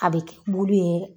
A bɛ kɛ bulu ye.